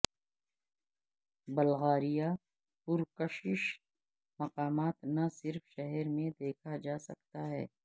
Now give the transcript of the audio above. Bulgaria پرکشش مقامات نہ صرف شہر میں دیکھا جا سکتا ہے